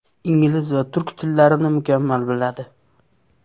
Ingliz va turk tillarini mukammal biladi.